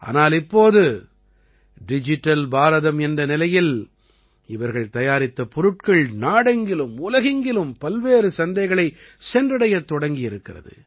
ஆனால் இப்போது டிஜிட்டல் பாரதம் என்ற நிலையில் இவர்கள் தயாரித்த பொருட்கள் நாடெங்கிலும் உலகெங்கிலும் பல்வேறு சந்தைகளைச் சென்றடையத் தொடங்கியிருக்கிறது